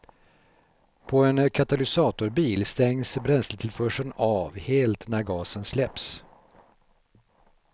På en katalysatorbil stängs bränsletillförseln av helt när gasen släpps.